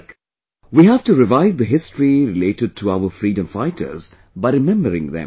Like, we have to revive the history related to our freedom fighters by remembering them